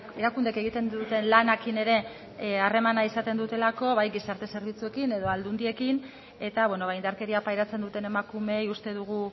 erakundeek egiten duten lanarekin ere harremana izaten dutelako bai gizarte zerbitzuekin edo aldundiekin eta indarkeria pairatzen duten emakumeei uste dugu